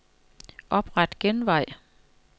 Opret genvej.